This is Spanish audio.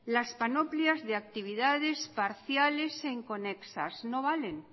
las panoplias de actividades parciales e inconexas no valen